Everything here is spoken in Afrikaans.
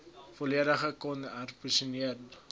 volledig kon herposisioneer